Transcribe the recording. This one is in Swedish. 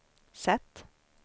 sätt